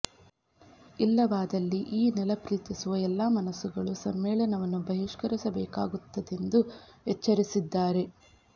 ಇಲ್ಲವಾದಲ್ಲಿ ಈ ನೆಲ ಪ್ರೀತಿಸುವ ಎಲ್ಲಾ ಮನಸ್ಸುಗಳು ಸಮ್ಮೇಳನವನ್ನು ಬಹಿಷ್ಕರಿಸಬೇಕಾಗುತ್ತದೆಂದು ಎಚ್ಚರಿಸಿದ್ದಾರೆ